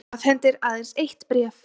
Afhendir aðeins eitt bréf